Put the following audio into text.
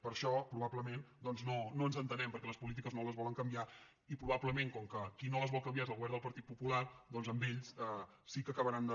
per això probablement no ens entenem perquè les polítiques no les volen can·viar i probablement com que qui no les vol canvi·ar és el govern del partit popular doncs amb ells sí que acabaran de